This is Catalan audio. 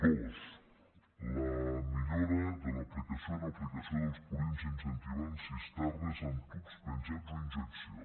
dos la millora de l’aplicació en l’aplicació dels purins incentivant cisternes amb tubs penjants o injecció